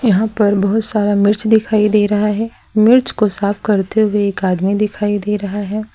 यहां पर बहुत सारा मिर्च दिखाई दे रहा है मिर्च को साफ करते हुए एक आदमी दिखाई दे रहा है।